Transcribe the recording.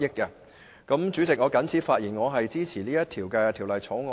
代理主席，我謹此發言，並支持《條例草案》恢復二讀。